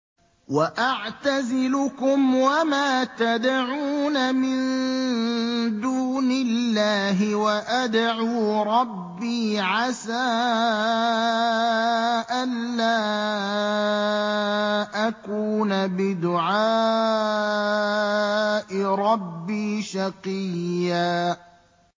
وَأَعْتَزِلُكُمْ وَمَا تَدْعُونَ مِن دُونِ اللَّهِ وَأَدْعُو رَبِّي عَسَىٰ أَلَّا أَكُونَ بِدُعَاءِ رَبِّي شَقِيًّا